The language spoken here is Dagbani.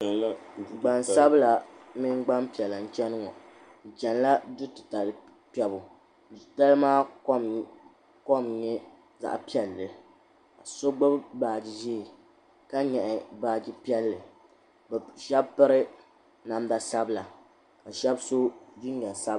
Gbansabla mini gbanpiɛla n cheni ŋɔ bɛ chenila dutitali kpɛbu dutitali maa kom nyɛ zaɣa piɛlli so gbibi baaji ʒee ka nyaɣi baaji piɛli sheba piri namda sabla ka sheba so jinjiɛm sabla.